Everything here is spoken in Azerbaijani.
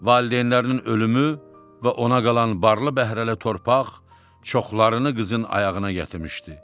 Valideynlərinin ölümü və ona qalan barlı-bəhrəli torpaq çoxlarını qızın ayağına gətirmişdi.